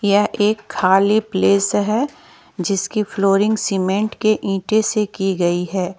यह एक खाली प्लेस है जिसकी फ्लोरिंग सीमेंट के इंटे से की गई है।